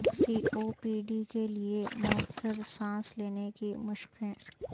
سی O P D کے لئے موثر سانس لینے کی مشقیں